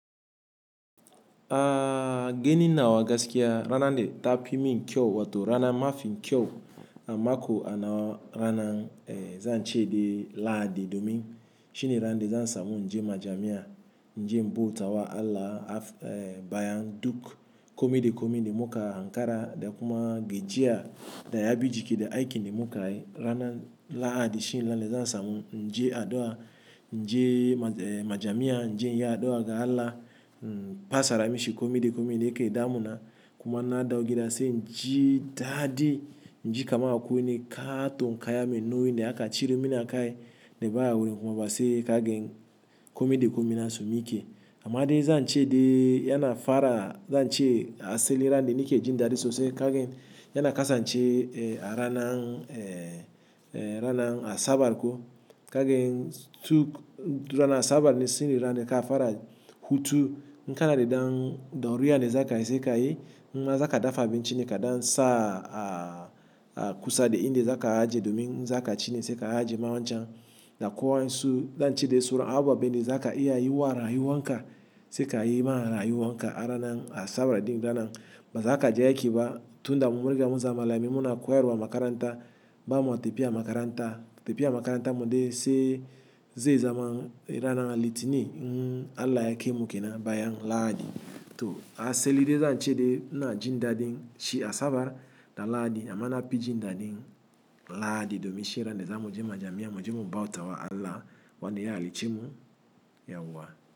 A gani nawa gaskiya ranan da ta fi min kyau wato rana mafin kyau a mako a nawa rana zan ce de lahadi ne domin. Shine ranan da zan samu inje majamiya, in je in bauta wa Allah. Bayan duk komai da komai da mu ka ankara da kuma gajiya da ya bi jiki da aikin da mu ka yi ranan lahadi shine rana de zan samun inje addu'a inje majamiya, inje iya addu'a ga Allah in fasaara mishi komai da komai da yake damuna kuma na dawo gida sai in ji daadi, in ji kaman akwai wanj kaaton kaya me nauyi da aka cire min a kai ne baya wurin kuma ba sai ka gan komai sa komai na su mike. Amma de zan ce de yana fara zan ce a asali na da ni ke jin daadi sosai ka gan yana kasannce a ranan a ranan asabar ko ka gan duk rana asabar ne shine ranan da ka fara hutu. Ka na da dan ɗauriya ne zaka yi sai ka yi, in ma za ka dafa abinci ne ka dan sa a kusa da inda zaka ajiye domin, in za ka ci ne sai ka ajiye ma wanchan, da ko wa insu dan ce de suran ababe ne da zaka iya yi wa rayuwan ka sai ka yi ma wa rayuwan ka ranan asabar din rana. Ba zaka je aiki ba tunda mu mun riga mun zama malamai muna koyarwa a makaranta ba ma tapiya makaranta. Tapiya makaranta ma de sai ze zaman rana litini in Allah ya kai mu kenan a bayan lahadi to a asali de za'a ce de mu na jin daadin shi asabar da lahadi amma na pi jin dadin lahadi domin shine rana de za mu je majamiya, mu je mu bautawa Allah wanda ya hallice mu yauwa.